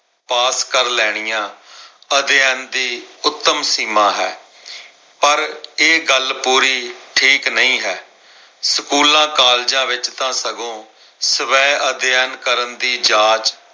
ਪਾਸ ਕਰ ਲੈਣੀਆਂ ਅਧਿਐਨ ਦੀ ਉੱਤਮ ਸੀਮਾਂ ਹੈ। ਪਰ ਇਹ ਗੱਲ ਪੂਰੀ ਠੀਕ ਨਹੀਂ ਹੈ। ਸਕੂਲਾਂ, ਕਾਲਜਾਂ ਵਿੱਚ ਤਾਂ ਸਗੋਂ ਸਵੈ ਅਧਿਐਨ ਕਰਨ ਦੀ ਜਾਚ